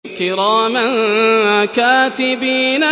كِرَامًا كَاتِبِينَ